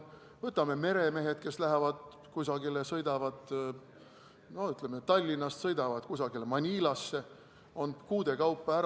Võtame meremehed, kes lähevad kusagile, sõidavad Tallinnast Manilasse, on kuude kaupa ära.